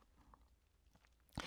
DR1